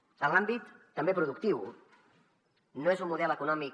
en l’àmbit també productiu no és un model econòmic